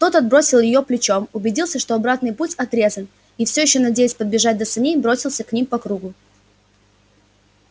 тот отбросил её плечом убедился что обратный путь отрезан и все ещё надеясь подбежать до саней бросился к ним по кругу